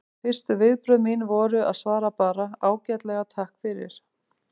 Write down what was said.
Fyrstu viðbrögð mín voru að svara bara: Ágætlega, takk fyrir